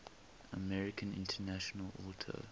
american international auto